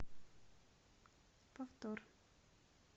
повтор